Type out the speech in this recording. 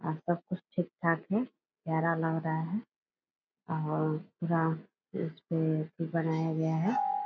आज सब कुछ ठीक-ठाक है प्यारा लग रहा है और पूरा इस पे भी बनाया गया है।